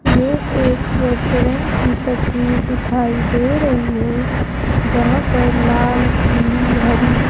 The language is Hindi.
ये एक रेस्टोरेंट की तस्वीर दिखाई दे रही है जहां पर लाल पीली हरी --